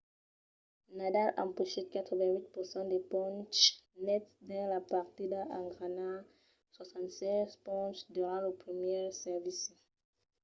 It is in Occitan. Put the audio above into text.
nadal empochèt 88% de ponches nets dins la partida en ganhar 76 ponches durant lo primièr servici